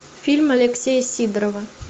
фильм алексея сидорова